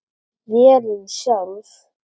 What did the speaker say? Vélin sjálf